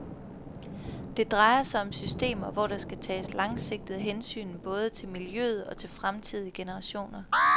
Det drejer sig om systemer, hvor der skal tages langsigtede hensyn både til miljøet og til fremtidige generationer.